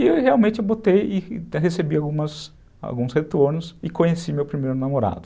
E eu realmente botei e recebi alguns retornos e conheci meu primeiro namorado.